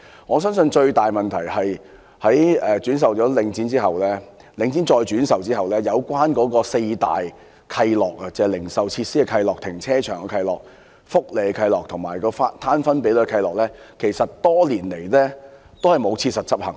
我相信最大的問題是領展把物業轉售後，"四大契諾"，即關於零售設施、停車場、福利及分攤比率的契諾，其實多年來並無切實執行。